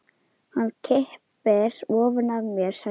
Hann kippir ofan af mér sænginni.